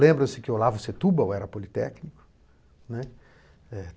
Lembra-se que Olavo Setúbal era politécnico, né.